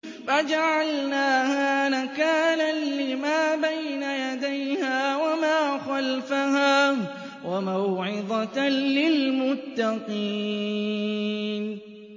فَجَعَلْنَاهَا نَكَالًا لِّمَا بَيْنَ يَدَيْهَا وَمَا خَلْفَهَا وَمَوْعِظَةً لِّلْمُتَّقِينَ